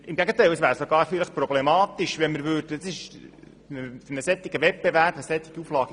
Im Gegenteil: Bei einem Wettbewerb wäre das vielleicht sogar problematisch.